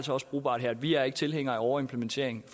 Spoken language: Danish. brugbart her vi er ikke tilhængere af overimplementering i